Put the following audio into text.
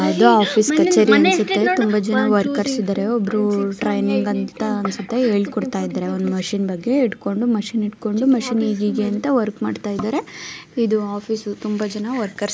ಇದು ಆಫೀಸ್ ತುಂಬಾ ಜನ ವರ್ಕರ್ಸ್ ಇದಾರೆ. ಒಬ್ರು ಟ್ರೇನಿಂಗ್ ಅಂತ ಅನ್ಸುತ್ತೆ ಹೇಳ್ಕೊಡ್ತಾ ಇದಾರೆ. ಒಂದ್ ಮಷೀನ್ ಬಗ್ಗೆ ಇಟ್ಕೊಂಡು ಮಷೀನ್ ಇಟ್ಕೊಂಡು ಮಷೀನ್ ಹೀಗೀಗೆ ಅಂತ ವರ್ಕ್ ಮಾಡ್ತಾ ಇದಾರೆ. ಇದು ಆಫೀಸ್ ತುಂಬಾ ಜನ ವರ್ಕರ್ಸ್ --